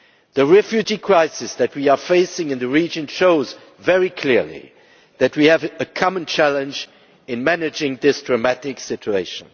The refugee crisis that we are facing in the region shows very clearly that we share a common challenge when managing this dramatic situation.